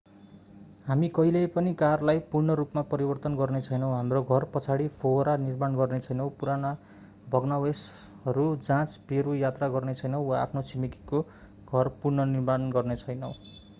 हामी कहिल्यै पनि कारलाई पूर्ण रूपमा परिवर्तन गर्नेछैनौँ हाम्रो घर पछाडि फोहोरा निर्माण गर्नेछैनौँ पुराना भग्नावशेषहरू जाँच्न पेरु यात्रा गर्नेछैनौँ वा आफ्नो छिमेकीको घर पुनर्निर्माण गर्नेछैनौँ